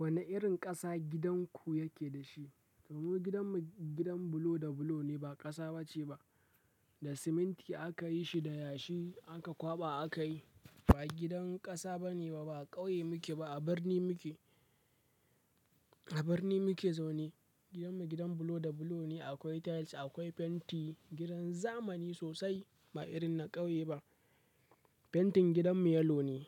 Wane irin ƙasa gidanku yake da shi? To mu gidanmu gidan bulo da bulo ne, ba ƙasa ba ce ba. Da siminti aka yi shi, da yashi aka kwaɓa aka yi. Ba gidan ƙasa ba ne ba, ba ƙauye muke ba, a birni muke, a birni muke zaune. Gidanmu gidan bulo da bulo ne, akwai tiles, akwai fenti, gidan zamani sosai, ba irin na ƙauye ba. Fentin gidanmu yellow ne.